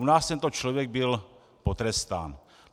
U nás tento člověk byl potrestán.